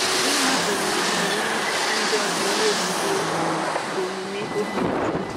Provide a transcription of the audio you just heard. Ịma ụ̀ma jiri mmetụta ndị ọzọ na-egwùrị egwù bụ omume ọ̀bì ọjọọ.